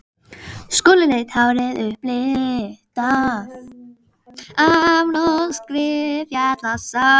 Skolleitt hárið upplitað af norskri fjallasól.